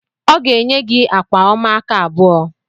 Ọ ga-enye gị akwa ọma aka abụọ